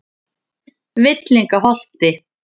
Villingaholti